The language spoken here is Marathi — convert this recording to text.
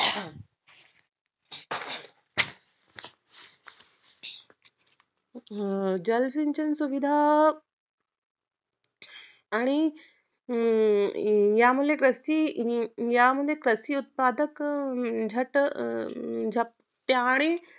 अं जलसंचालन सुविधा आणि अं यामुळे कृषी, यामुळे कृषी उत्पादक ह्यात जप्त्यांने